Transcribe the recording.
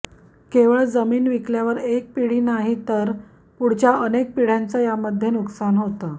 केवळ जमीन विकल्यावर एक पिढी नाही तर पुढच्या अनेक पिढ्यांचं यामध्ये नुकसान होतं